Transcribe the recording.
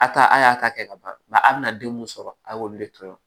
A taa a y'a ta kɛ ka ban a bɛna den mun sɔrɔ a y'olu de toyi